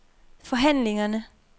forhandlingerne